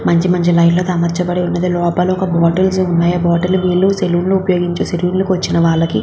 మధ్య మధ్యలో లైట్ లతో అమర్చబడి ఉన్నది లోపల ఒక బాటిల్స్ ఉన్నాయి ఆ బాటిల్ వీళ్ళు సెలూన్ కి ఉపయోగించే సెలూన్ కి వచ్చిన వాళ్ళకి.